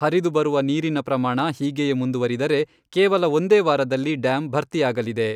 ಹರಿದು ಬರುವ ನೀರಿನ ಪ್ರಮಾಣ ಹೀಗೆಯೇ ಮುಂದುವರಿದರೆ ಕೇವಲ ಒಂದೇ ವಾರದಲ್ಲಿ ಡ್ಯಾಮ್ ಭರ್ತಿ ಆಗಲಿದೆ.